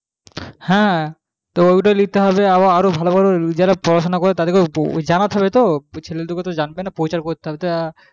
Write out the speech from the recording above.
হ্যাঁ তো ওটাই নিতে হবে যারা ভালো ভালো পড়াশুনা করে তাদের জানাতে হবে এবং প্রচার করতে হবে